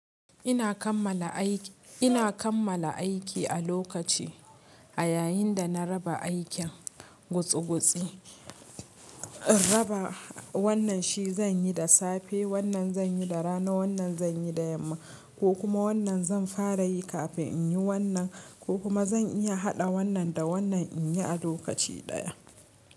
Ina kammala aiki, ina kammala aiki a lokaci a yayin da na raba aikin gutsigutsi raba wannan shi zan yi da safe, wannan zan yi da rana, wannan zan yi da yamma ko kuma wannan zan fara yi kafin in yi wannan ko kuma zan iya haɗa wannan da wannan in yi a lokaci ɗaya.